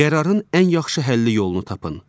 Qərarın ən yaxşı həlli yolunu tapın.